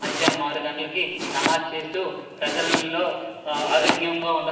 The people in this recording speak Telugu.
మధ్యనాం ఆరు గంటలకి నమాజ్ చేస్తూ ప్రజలలో ఆరోగ్యం గా ఉండ--